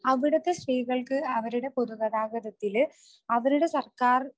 അവിടുത്തെ സ്ത്രീകൾക്ക് അവരുടെ പൊതു ഗതാഗതത്തില് അവരുടെ സർക്കാർ